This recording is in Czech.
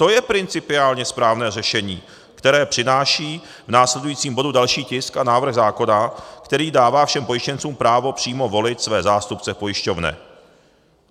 To je principiálně správné řešení, které přináší v následujícím bodu další tisk a návrh zákona, který dává všem pojištěncům právo přímo volit své zástupce v pojišťovně.